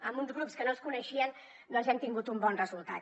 amb uns grups que no es coneixien doncs hem tingut un bon resultat